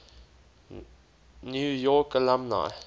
new york alumni